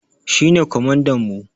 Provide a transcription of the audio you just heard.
Shi ne kwamandan mu.